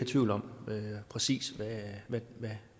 tvivl om præcis